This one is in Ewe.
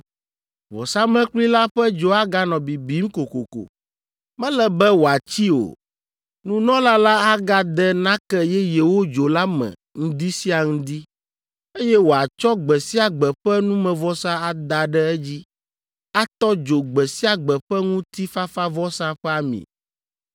Vɔsamlekpui la ƒe dzo aganɔ bibim kokoko; mele be wòatsi o. Nunɔla la agade nake yeyewo dzo la me ŋdi sia ŋdi, eye wòatsɔ gbe sia gbe ƒe numevɔsa ada ɖe edzi, atɔ dzo gbe sia gbe ƒe ŋutifafavɔsa ƒe ami.